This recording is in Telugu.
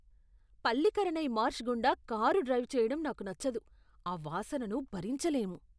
పల్లికరనై మార్ష్ గుండా కారు డ్రైవ్ చెయ్యడం నాకు నచ్చదు, ఆ వాసనను భరించలేము!